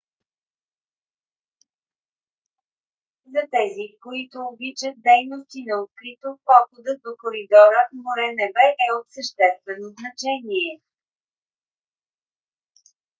за тези които обичат дейности на открито походът до коридора море–небе е от съществено значение